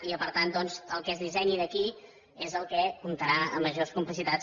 i que per tant doncs el que es dissenyi d’aquí és el que comptarà amb majors complicitats